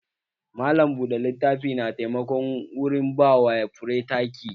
Malam buɗe littafi na taimako wurin ba wa fure taki